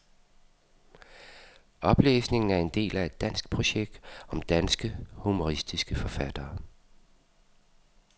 Oplæsningen er en del af et danskprojekt om danske, humoristiske forfattere.